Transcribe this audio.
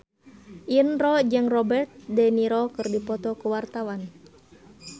Indro jeung Robert de Niro keur dipoto ku wartawan